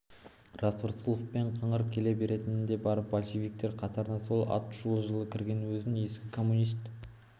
рас рысқұловпен қыңыр келе беретіні де бар большевиктер қатарына сол атышулы жылы кірген өзін ескі коммунист